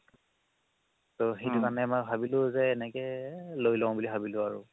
তৌ সেইটো কাৰণে মই ভাবিলো এনেকে লই লও বুলি ভাবিলো আৰু